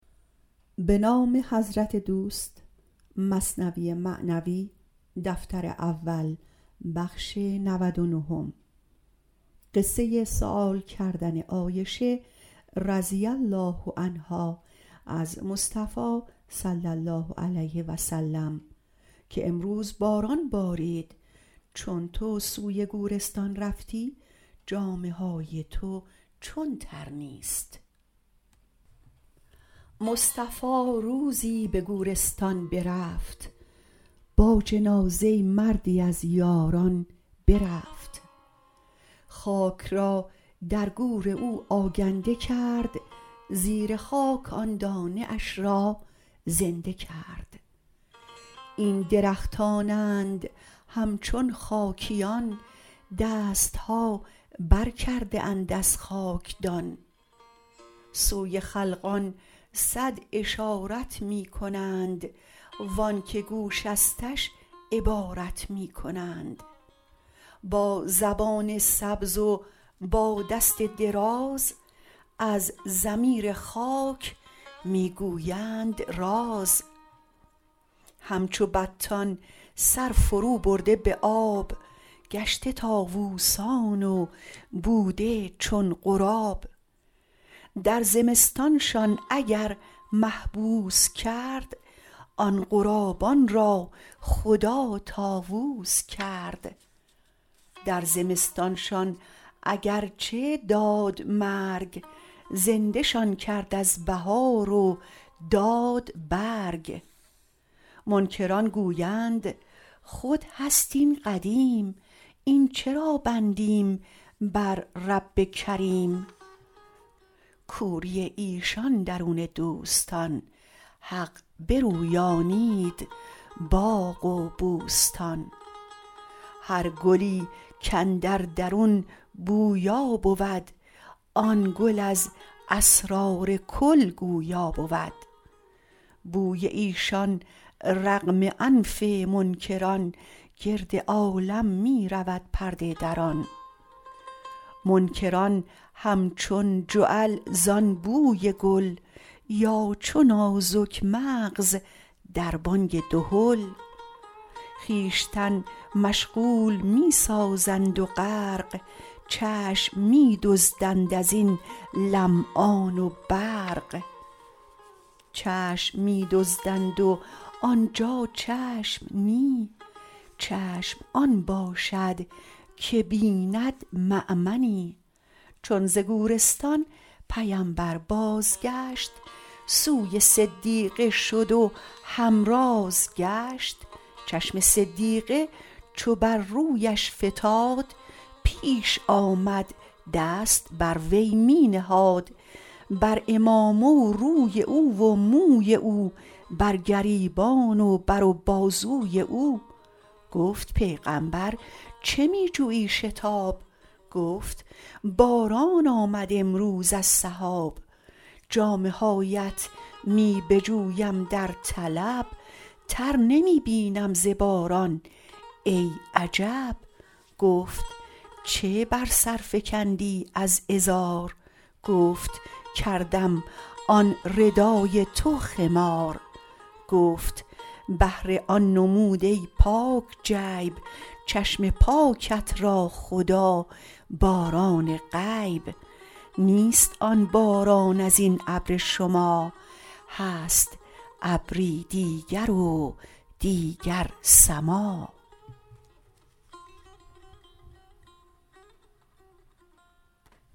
مصطفی روزی به گورستان برفت با جنازه مردی از یاران برفت خاک را در گور او آگنده کرد زیر خاک آن دانه اش را زنده کرد این درختانند همچون خاکیان دستها بر کرده اند از خاکدان سوی خلقان صد اشارت می کنند وانک گوشستش عبارت می کنند با زبان سبز و با دست دراز از ضمیر خاک می گویند راز همچو بطان سر فرو برده به آب گشته طاووسان و بوده چون غراب در زمستانشان اگر محبوس کرد آن غرابان را خدا طاووس کرد در زمستانشان اگر چه داد مرگ زنده شان کرد از بهار و داد برگ منکران گویند خود هست این قدیم این چرا بندیم بر رب کریم کوری ایشان درون دوستان حق برویانید باغ و بوستان هر گلی کاندر درون بویا بود آن گل از اسرار کل گویا بود بوی ایشان رغم آنف منکران گرد عالم می رود پرده دران منکران همچون جعل زان بوی گل یا چو نازک مغز در بانگ دهل خویشتن مشغول می سازند و غرق چشم می دزدند ازین لمعان برق چشم می دزدند و آنجا چشم نی چشم آن باشد که بیند مامنی چون ز گورستان پیمبر باز گشت سوی صدیقه شد و همراز گشت چشم صدیقه چو بر رویش فتاد پیش آمد دست بر وی می نهاد بر عمامه و روی او و موی او بر گریبان و بر و بازوی او گفت پیغامبر چه می جویی شتاب گفت باران آمد امروز از سحاب جامه هاات می بجویم در طلب تر نمی یابم ز باران ای عجب گفت چه بر سر فکندی از ازار گفت کردم آن ردای تو خمار گفت بهر آن نمود ای پاک جیب چشم پاکت را خدا باران غیب نیست آن باران ازین ابر شما هست ابری دیگر و دیگر سما